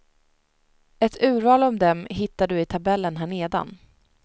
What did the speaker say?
Ett urval av dem hittar du i tabellen här nedan.